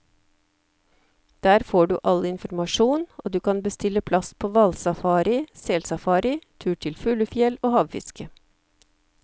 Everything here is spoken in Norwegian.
Der får du all informasjon, og kan bestille plass på hvalsafari, selsafari, tur til fuglefjell og havfiske.